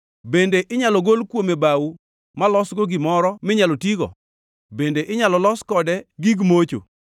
Bende inyalo gol kuome bao malosgo gimoro minyalo tigo? Bende inyalo los kode gig mocho?